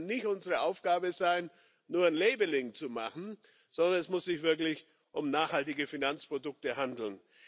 Aber es kann nicht unsere Aufgabe sein, nur Labeling zu machen, sondern es muss sich wirklich um nachhaltige Finanzprodukte handeln.